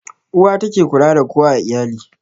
Uwa ta ke kula da kowa a iyali